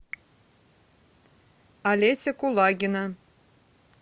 олеся кулагина